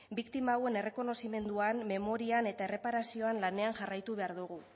biktima hauen errekonozimenduan memorian eta erreparazioan lanean jarraitu behar dugu